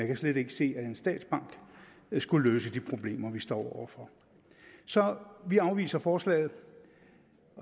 kan slet ikke se at en statsbank skulle løse de problemer vi står over for så vi afviser forslaget